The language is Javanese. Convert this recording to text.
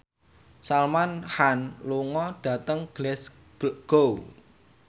Salman Khan lunga dhateng Glasgow